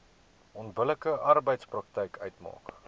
onbillike arbeidspraktyk uitmaak